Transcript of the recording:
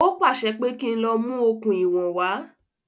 Ó pàṣẹ pé kí n lọ mú okùn ìwọ̀n wá